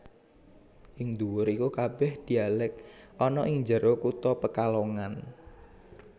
Ing nduwur Iku kabeh dialek ana ing njero kutha Pekalongan